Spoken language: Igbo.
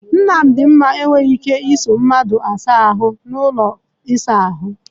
Nnadinma enweghị ike ịso mmadụ asa ahu n'ime ụlọ ịsa ahụ.